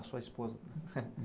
A sua esposa?